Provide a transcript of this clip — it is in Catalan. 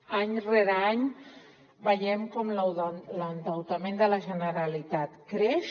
any rere any veiem com l’endeutament de la generalitat creix